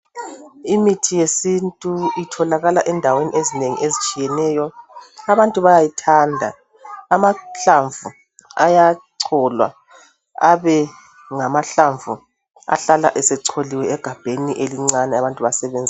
Imithi yesintu itholakala endaweni ezinengi ezitshiyeneyo. Abantu bayayithanda. Amahlamvu ayacholwa abengamahlamvu ahlala esecholiwe egabheni elincane abantu basebenzise.